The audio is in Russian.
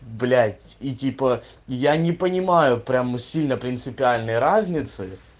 блять и типа я не понимаю прямо сильно принципиальной разницы